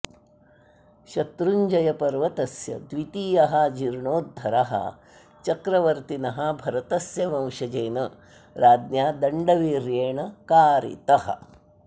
शत्रुञ्जयपर्वतस्य द्वितीयः जीर्णोद्धरः चक्रवर्तिनः भरतस्य वंशजेन राज्ञा दण्डवीर्येण कारितः